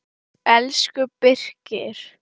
Elsku Birkir.